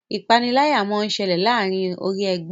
ìpaniláyà món ṣẹlẹ láàrin orí ègbé